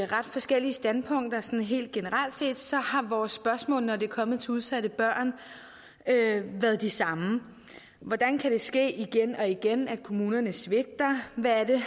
ret forskellige standpunkter helt generelt har vores spørgsmål når det kommer til udsatte børn været de samme hvordan kan det ske igen og igen at kommunerne svigter hvad er det